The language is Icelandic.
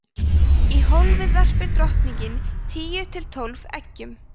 í hólfið verpir drottningin tíu til tólf eggjum